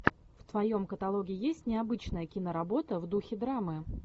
в твоем каталоге есть необычная киноработа в духе драмы